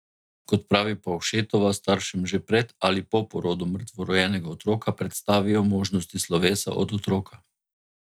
Kot pravi Pavšetova, staršem že pred ali po porodu mrtvorojenega otroka predstavijo možnosti slovesa od otroka.